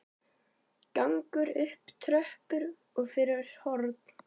Gengur upp tröppur og fyrir horn.